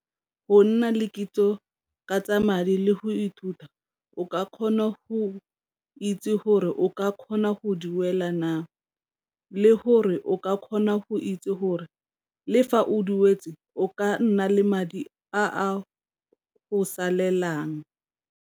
Go nna le kitso ka tsa madi le go ithuta o ka kgona go itse gore o ka kgona go duela na, le gore o ka kgona go itse gore le fa o duetse o ka nna le madi a a go salelang.